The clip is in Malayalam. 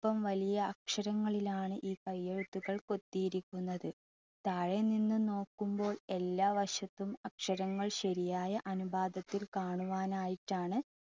അല്പം വലിയ കൈയ്യക്ഷരങ്ങളിൽ ആണ് ഈ കൈയ്യെഴുത്തുകൾ കൊത്തിയിരിക്കുന്നത്. താഴെ നിന്ന് നോക്കുമ്പോൾ എല്ലാ വശത്തും അക്ഷരങ്ങൾ ശരിയായ അനുപാതത്തിൽ കാണുവാനായിട്ടാണ്